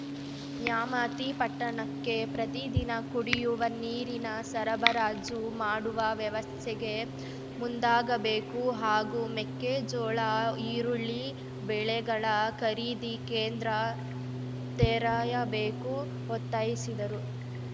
ನ್ಯಾಮತಿ ಪಟ್ಟಣಕ್ಕೆ ಪ್ರತಿದಿನ ಕುಡಿಯುವ ನೀರಿನ ಸರಬರಾಜು ಮಾಡುವ ವ್ಯವಸ್ಥೆಗೆ ಮುಂದಾಗಬೇಕು ಹಾಗೂ ಮೆಕ್ಕೆಜೋಳ ಈರುಳ್ಳಿ ಬೆಳೆಗಳ ಖರೀದಿ ಕೇಂದ್ರ ತೆರೆಯಬೇಕು ಒತ್ತಾಯಿಸಿದರು